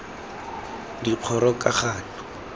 dikgorokagano